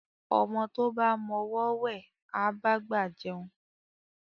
Ọmọ tó bá mọ ọwọ́ wẹ̀, á bá gbà jẹun